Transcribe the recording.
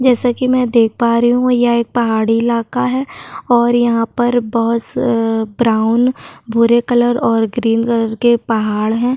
जैसा कि मैं देख पा रही हूं यह एक पहाड़ी इलाका है और यहा पर बहुत स अअ ब्राउन भूरे कलर और ग्रीन कलर के पहाड़ है।